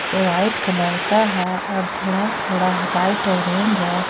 यह white colour का है और थोड़ा थोड़ा लाइट ऑरेंज है।